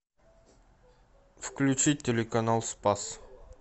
включить телеканал спас